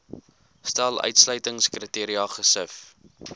stel uitsluitingskriteria gesif